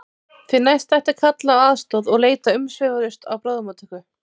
Því næst ætti að kalla á aðstoð og leita umsvifalaust á bráðamóttöku.